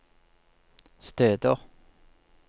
steder